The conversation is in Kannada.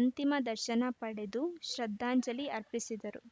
ಅಂತಿಮ ದರ್ಶನ ಪಡೆದು ಶ್ರದ್ಧಾಂಜಲಿ ಅರ್ಪಿಸಿದರು